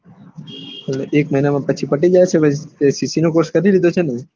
એટલે એક મહિના માં પછી પતી જાય છે ને ccc નો કોર્ષ પતિ જાય છે ને